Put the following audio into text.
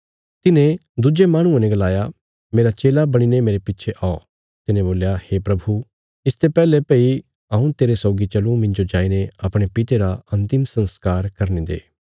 तिन्हे दुज्जे माहणुये ने गलाया मेरा चेला बणीने मेरे पिच्छे औ तिने बोल्या हे प्रभु इसते पैहले भई हऊँ तेरे सौगी चलूँ मिन्जो जाईने अपणे पिता रा अंतिम संस्कार करने दे